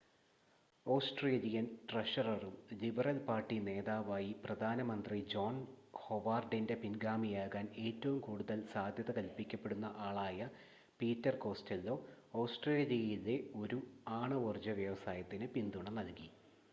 Australian ട്രഷററും Liberal Party നേതാവായി പ്രധാന മന്ത്രി ജോൺ ഹൊവാർഡിൻ്റെ പിൻഗാമിയാകാൻ ഏറ്റവും കൂടുതൽ സാധ്യത കൽപ്പിക്കപ്പെടുന്ന ആളായ പീറ്റർ കോസ്റ്റെല്ലോ ഓസ്ട്രേലിയയിലെ ഒരു ആണവോർജ്ജ വ്യവസായത്തിന് പിന്തുണ നൽകി